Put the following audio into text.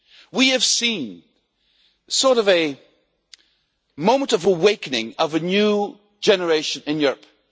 We have seen a sort of moment of awakening of a new generation in Europe.